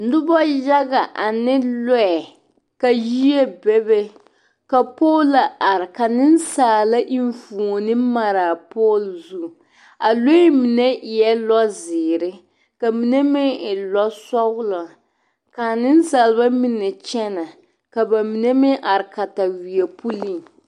Noba yaga ane lɔɛ yie be be ka polaa are ka nensaala enfuoni mare a poloo zu a lɔɛ mine eɛ lɔzeere ka mine meŋ e lɔsɔglɔ ka a nensaaleba mine kyɛnɛ ka ba mine meŋ are kataweɛ pulling.